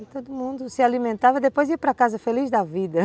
E todo mundo se alimentava e depois ia para casa feliz da vida.